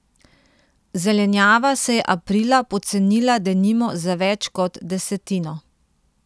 Zelenjava se je aprila pocenila denimo za več kot desetino.